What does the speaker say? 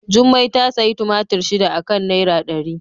Jummai ta sayi tumatur shida a kan naira dari.